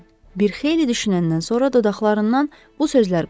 Bir xeyli düşünəndən sonra dodaqlarından bu sözlər qopdu: